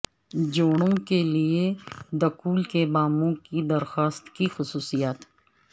جوڑوں کے لئے دکول کے باموں کی درخواست کی خصوصیات